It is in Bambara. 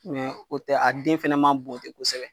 o tɛ a den fana ma bon te kosɛbɛ.